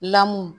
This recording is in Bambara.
Lamu